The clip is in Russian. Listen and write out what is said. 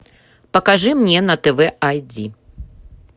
покажи мне на тв айди